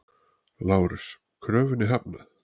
LÁRUS: Kröfunni hafnað!